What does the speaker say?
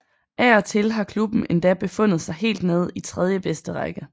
Af og til har klubben endda befundet sig helt nede i tredjebedste række